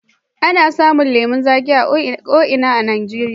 Ana samun lemon zaƙi a ko ina a Najeriya.